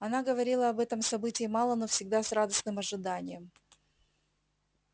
она говорила об этом событии мало но всегда с радостным ожиданием